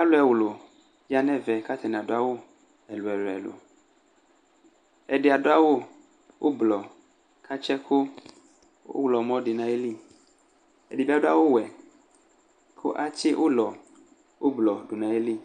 Alʋ ɛwlʋ ya nʋ ɛvɛ kʋ atanɩ adʋ awʋ ɛlʋ-ɛlʋ Ɛdɩ adʋ awʋ ʋblɔ kʋ atsɩ ɛkʋ ɔɣlɔmɔ dʋ nʋ ayili Ɛdɩ bɩ adʋ awʋwɛ kʋ atsɩ ʋlɔ ʋblɔ dʋ nʋ ayili